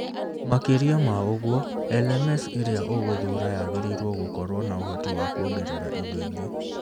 Makĩria ma ũguo, LMS ĩrĩa ũgũthuura yagĩrĩirũo gũkorũo na ũhoti kuongerera indo ingĩ